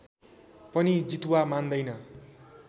पनि जितुवा मान्दैन